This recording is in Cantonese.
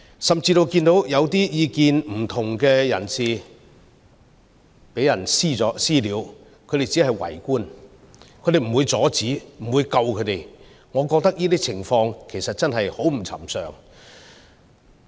甚至看到一些意見不同的人士被人"私了"，他們只會圍觀，不會阻止，不會救他們，我覺得這些情況其實很不尋常。